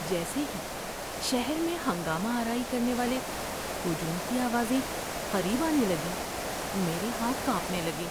جیسے ہی شہر میں ہنگامہ آرائی کرنے والے ہجوم کی آوازیں قریب آنے لگیں میرے ہاتھ کانپنے لگے۔